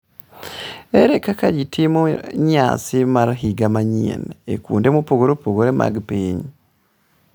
Ere kaka ji timo nyasi mar higa manyien e kuonde mopogore opogore mag piny?